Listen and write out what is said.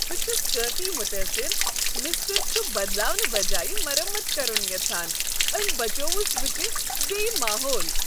بہٕ چھس کٲفی متٲثر مِسترۍ چھُ بدلاونہٕ بجایہ مرمت کرُن یژھان۔ أمۍ بچووُس بہٕ تہٕ بییہ ماحول۔